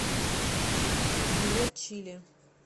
билет чили